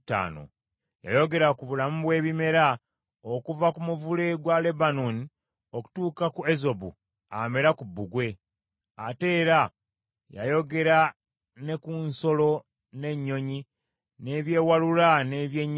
Yayogera ku bulamu bwe bimera, okuva ku muvule gwa Lebanooni okutuuka ku ezobu amera ku bbugwe. Ate era yayogera ne ku nsolo n’ennyonyi, n’ebyewalula n’ebyennyanja.